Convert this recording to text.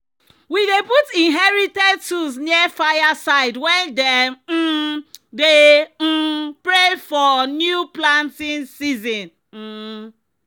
"we dey put inherited tools near fire side when dem um dey um pray for new planting season." um